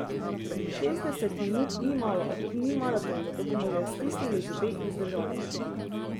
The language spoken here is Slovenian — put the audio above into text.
Šestdeset minut ni malo, a tudi ni maraton, zato bomo že stisnili zobe in zdržali.